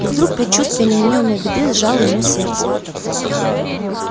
и вдруг предчувствие неминуемой беды сжало ему сердце